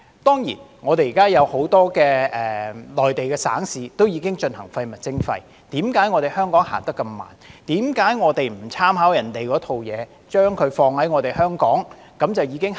當然，現時很多內地省市都已推行廢物徵費，為何香港走得那麼慢，為何我們不參考別人那一套，把那一套放在香港便可以立即推行。